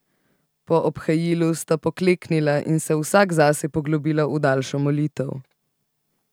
Po obhajilu sta pokleknila in se vsak zase poglobila v daljšo molitev.